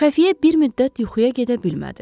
Xəfiyyə bir müddət yuxuya gedə bilmədi.